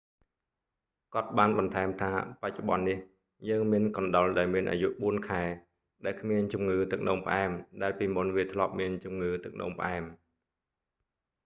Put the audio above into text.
"គាត់​បាន​បន្ថែម​ថា បច្ចុប្បន្ន​នេះ យើង​មាន​កណ្ដុរ​ដែល​មាន​អាយុ 4 ខែ ដែល​គ្មាន​ជំងឺ​ទឹក​នោ​ម​ផ្អែម ដែល​ពីមុន​វា​ធ្លាប់​មាន​ជំងឺ​ទឹកនោមផ្អែម។